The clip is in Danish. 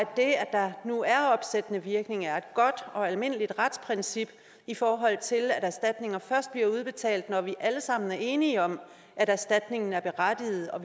der nu er opsættende virkning er godt og almindeligt retsprincip i forhold til at erstatninger først bliver udbetalt når vi alle sammen er enige om at erstatningen er berettiget og